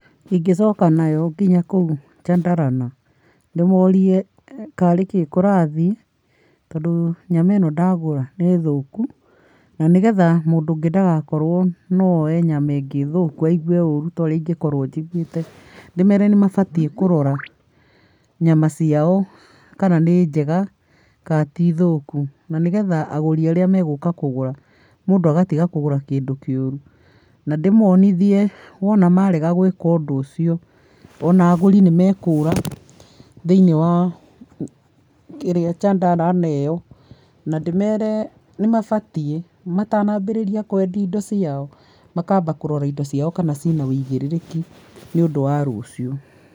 Ingĩcoka nayo nginya kũu Chandarana. Ndĩmorie karĩkĩĩ kũrathiĩ, tondũ nyama ĩno ndagũra nĩ thũku. Na nĩgetha mũndũ ũngĩ ndagakorwo no oe nyama ĩngĩ thũku aigũe ũru ta ũrĩa ingĩkorwo njiguĩte, ndĩmere nĩ mabatiĩ kũrora nyama ciao kana nĩ njega kana ti thũku. Na nĩgetha agũri arĩa meguka kũgũra mũndũ agatiga kũgũra kĩndũ kĩũru. Na ndĩmonithie wona marega gwĩka ũndũ ũcio, ona agũri nĩ mekũũra thĩinĩ wa kĩrĩa, Chandarana ĩyo. Na ndĩmere nĩmabatiĩ matanambĩrĩria kwendia indo ciao, makamba kũrora indo ciao kana ciĩna ũigĩrĩrĩki nĩũndũ wa rũciũ.